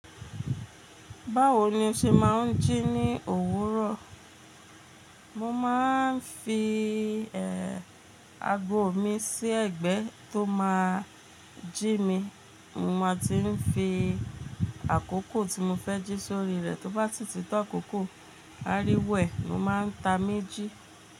Báwo ni o ṣe máa ń jí ní òwúrọ̀? Mo máa ń fi, ago mi sí ẹ̀gbẹ́ tó máa jí mi. Mo máa ti ń fi àkókò tí mo fẹ́ jí sórí rẹ̀, tó bá ti títọ́ àkókò, áriwo e ni o máa ń ta méjì.